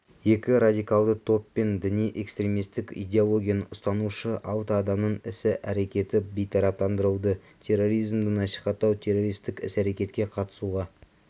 екі радикалды топ пен діни-экстремистік идеологияны ұстанушы алты адамның іс-әрекеті бейтараптандырылды терроризмді насихаттау террористік іс-әрекетке қатысуға